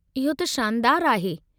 इहो त शानदारु आहे!